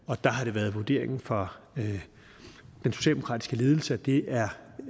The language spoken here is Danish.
og der har det været vurderingen fra den socialdemokratiske ledelse at det er